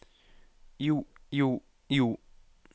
jo jo jo